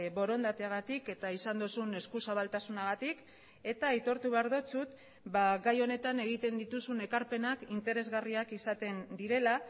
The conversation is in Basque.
borondateagatik eta izan duzun eskuzabaltasunagatik eta aitortu behar dizut gai honetan egiten dituzun ekarpenak interesgarriak izaten direla